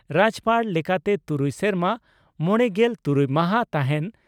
ᱨᱟᱡᱭᱚᱯᱟᱲ ᱞᱮᱠᱟᱛᱮ ᱛᱩᱨᱩᱭ ᱥᱮᱨᱢᱟ ᱢᱚᱲᱮᱜᱮᱞ ᱛᱩᱨᱩᱭ ᱢᱟᱦᱟᱸ ᱛᱟᱦᱮᱸᱱ ᱾